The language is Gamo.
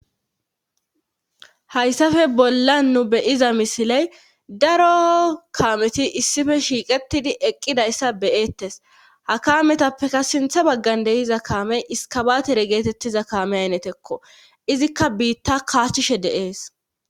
hayssafe bolla nu beyiza misiley daro kaameti issife shiiqetidi eqqidayssa beyettes ha kaametappeka sintha baggan deiza kaamey iskabatere geetettiza kaame aynetekko izikka biitta kaahishe deees